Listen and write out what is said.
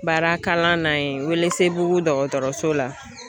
Baarakalan na yen Welesebugu dɔgɔtɔrɔso la